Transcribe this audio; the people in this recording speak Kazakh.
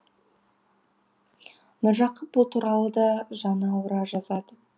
міржақып бұл туралы да жаны ауыра жазады